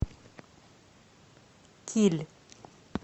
киль